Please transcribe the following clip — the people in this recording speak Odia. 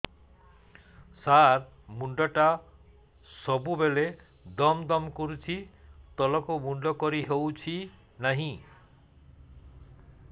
ସାର ମୁଣ୍ଡ ଟା ସବୁ ବେଳେ ଦମ ଦମ କରୁଛି ତଳକୁ ମୁଣ୍ଡ କରି ହେଉଛି ନାହିଁ